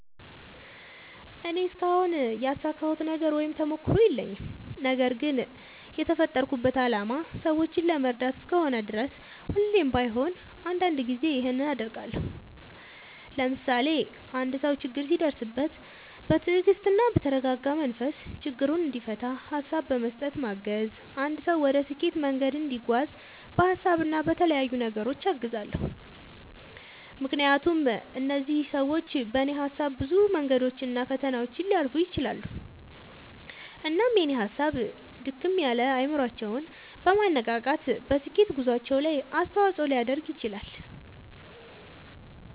እኔ እስካሁን ያሳካሁት ነገር ወይም ተሞክሮ የለኝም። ነገርግን የተፈጠርኩበት አላማ ሰዎችን ለመርዳት እስከሆነ ድረስ ሁሌም ባይሆን አንዳንድ ጊዜ ይኸንን አደርጋለሁ። ለምሳሌ፦ አንድ ሰው ችግር ሲደርስበት በትግስትና በተረጋጋ መንፈስ ችግሩን እንዲፈታ ሀሳብ በመስጠት ማገዝ፣ አንድ ሰው ወደ ስኬት መንገድ እንዲጓዝ በሀሳብ እና በተለያዩ ነገሮች አግዛለሁ። ምክንያቱም እነዚህ ሰዎች በኔ ሀሳብ ብዙ መንገዶችን እና ፈተናዎችን ሊያልፉ ይችላሉ። እናም የኔ ሀሳብ ድክም ያለ አይምሮአቸውን በማነቃቃት በስኬት ጉዞአቸው ላይ አስተዋጽኦ ሊያደርግ ይችላል።